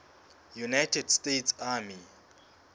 united states army